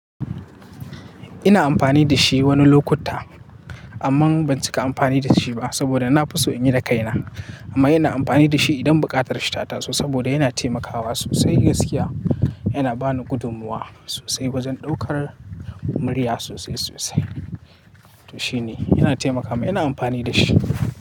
Ina amfani da shi wani lokuta, amma ban cika amfani da shi ba saboda na fi so in yi da kaina. Amma ina amfani da shi idan buƙatar shita ta so saboda yana taimakawa sosai gaskiya. Yana ba ni gudumuwa sosai wajen ɗaukar murya sosai sosai. To shi ne, yana taimakawa. Ina amfani da shi.